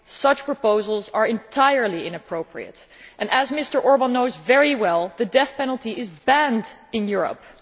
Such proposals are entirely inappropriate. As Mr Orbán knows very well, the death penalty is banned in Europe.